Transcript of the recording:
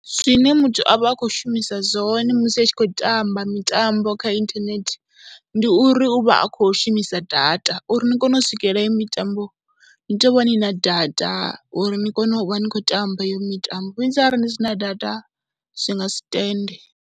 Zwine muthu a vha a khou shumisa zwone musi a tshi khou tamba mitambo kha inthanethe ndi uri u vha a khou shumisa data uri ni kone u swikelela heyo mitambo ni tea u vha ni na data uri ni kone u vha ni khou tamba heyo mitambo, vhunzhi arali ni si na data zwi nga si tende.